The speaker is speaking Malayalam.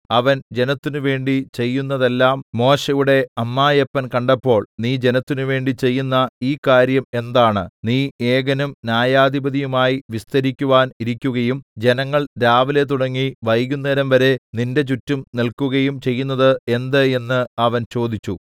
അവൻ ജനത്തിനുവേണ്ടി ചെയ്യുന്നതെല്ലാം മോശെയുടെ അമ്മായപ്പൻ കണ്ടപ്പോൾ നീ ജനത്തിന് വേണ്ടി ചെയ്യുന്ന ഈ കാര്യം എന്താണ് നീ ഏകനും ന്യായാധിപതിയുമായി വിസ്തരിക്കുവാൻ ഇരിക്കുകയും ജനങ്ങൾ രാവിലെ തുടങ്ങി വൈകുന്നേരംവരെ നിന്റെ ചുറ്റും നില്‍ക്കുകയും ചെയ്യുന്നത് എന്ത് എന്ന് അവൻ ചോദിച്ചു